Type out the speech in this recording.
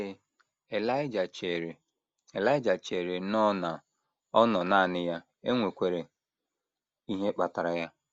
Ee, Elaịja chere Elaịja chere nnọọ na ọ nọ nanị ya e nwekwara ihe kpatara ya.